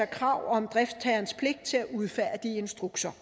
krav om driftsherrens pligt til at udfærdige instrukser